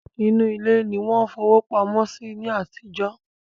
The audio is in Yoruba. Inú ilé ni wọ́n fowó pamọ́ sí ní àtijọ́